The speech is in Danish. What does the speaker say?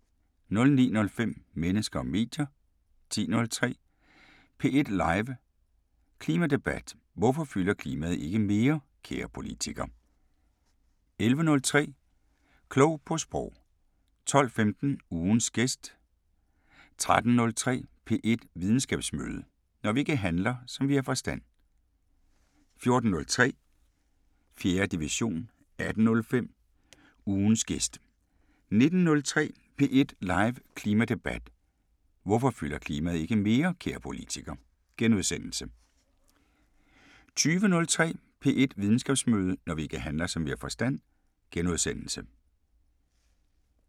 09:05: Mennesker og medier 10:03: P1 live Klimadebat: Hvorfor fylder klimaet ikke mere, kære politiker? 11:03: Klog på Sprog 12:15: Ugens gæst 13:03: P1 Videnskabsmøde: Når vi ikke handler, som vi har forstand 14:03: 4. division 18:05: Ugens gæst * 19:03: P1 live Klimadebat: Hvorfor fylder klimaet ikke mere, kære politiker? * 20:03: P1 Videnskabsmøde: Når vi ikke handler, som vi har forstand * 21:03: Klog på Sprog *